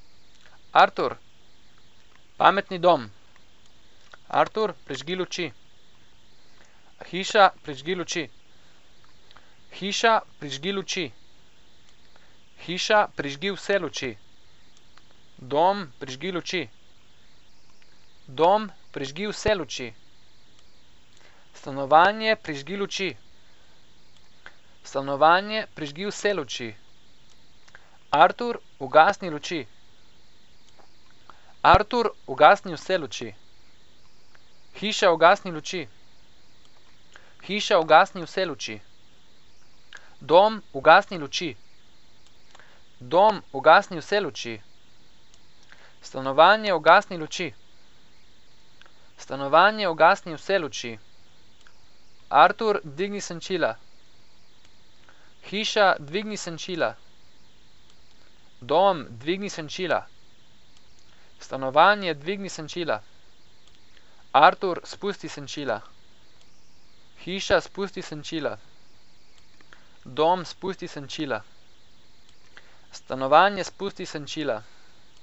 Artur. Pametni dom. Artur, prižgi luči. Hiša, prižgi luči. Hiša, prižgi luči. Hiša, prižgi vse luči. Dom, prižgi luči. Dom, prižgi vse luči. Stanovanje, prižgi luči. Stanovanje, prižgi vse luči. Artur, ugasni luči. Artur, ugasni vse luči. Hiša, ugasni luči. Hiša, ugasni vse luči. Dom, ugasni luči. Dom, ugasni vse luči. Stanovanje, ugasni luči. Stanovanje, ugasni vse luči. Artur, dvigni senčila. Hiša, dvigni senčila. Dom, dvigni senčila. Stanovanje, dvigni senčila. Artur, spusti senčila. Hiša, spusti senčila. Dom, spusti senčila. Stanovanje, spusti senčila.